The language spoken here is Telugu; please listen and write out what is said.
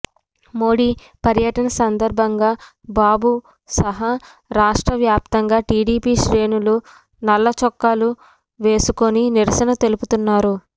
మోడీ పర్యటన సందర్భంగా బాబు సహా రాష్ట్రవ్యాప్తంగా టీడీపీ శ్రేణులు నల్ల చొక్కాలు వేసుకొని నిరసన తెలుపుతున్నారు